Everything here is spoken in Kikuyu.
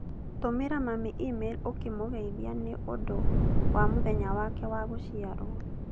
Tũmĩra mami e-mail ũkĩmũgeithia nĩ ũndũ wa mũthenya wake wa gũciarwo.